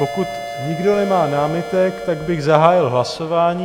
Pokud nikdo nemá námitek, tak bych zahájil hlasování.